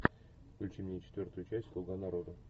включи мне четвертую часть слуга народа